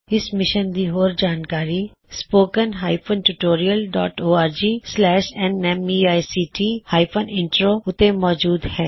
ਇਸ ਮਿਸ਼ਨ ਦੀ ਹੋਰ ਜਾਣਕਾਰੀ spoken hyphen tutorial dot org slash spoken tutorialਓਰਗNMEICT ਹਾਇਫਨ ਇਮਟ੍ਰੋ ਉੱਤੇ ਮੌਜੂਦ ਹੈ